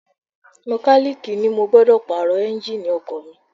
Mọkálíìkì ni mo gbọ́dọ̀ Pààrọ̀ Ẹ́ńjíìnì ọkọ̀ mi